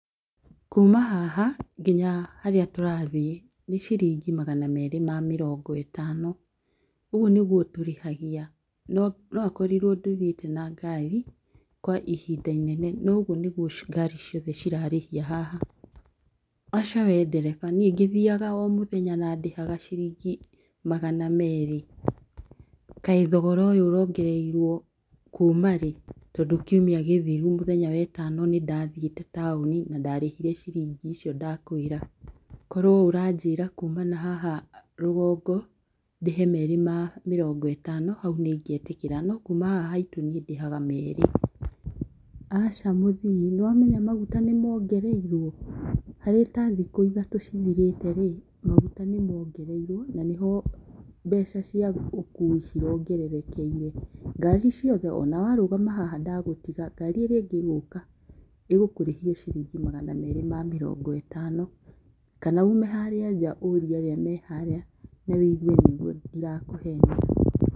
Kuma haha nginya harĩa tũrathie nĩ ciringi magana merĩ ma mĩrongo ĩtano, ũguo nĩguo tũrĩhagia ,no ũkorirwo ndũthiĩte na ngari kwa ihinda inene, no ũguo nĩguo ngari ciothe cirarĩhia haha. Aca we ndereba niĩ ngĩthiaga o mũthenya na ndĩhaga ciringi magana merĩ, kaĩ thogora ũyũ ũrongereirwo kuma rĩ tondũ kiumia gĩthiru mũthenya wa ĩtano nĩndathiĩte taũni na ndarĩhire ciringi icio ndakwĩra kworwo ũranjĩra kuma na haha rũgongo ndĩhe merĩ ma mĩrongo ĩtano nĩingĩe tĩkĩra no kuma haha haitũ ndĩhaga magana merĩ. Aca mũthii nĩwamenya maguta nĩmongereirwo harĩ ta thikũ ithatũ cithirĩte maguta nĩmongereirwo na nĩho mbeca cia ũkũi cirongererekeire ngari ciothe ona warũgama haha ndagũtiga ngari irĩa ingĩ ĩgũka ĩgũkũrĩhia ciringi magana merĩ ma mĩrongo ĩtano, kana ume harĩa nja ũrie arĩa marĩ harĩa nja ũigue nĩguo ndirakũhenia.